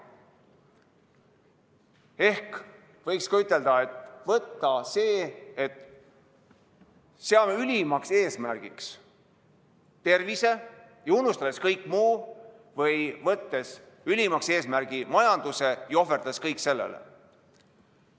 Ehk võiks ütelda, et kas seame ülimaks eesmärgiks tervise ja unustame kõik muu või võtame ülimaks eesmärgiks majanduse ja ohverdame kõik sellele.